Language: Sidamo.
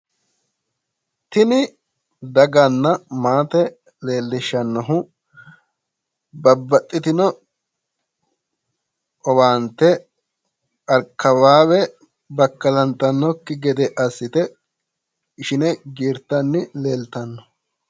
tini daganna maate leellishannohu babaxitino owaante akawaawe bakkalantannokki gede assite ishine giirtanni leeltanno.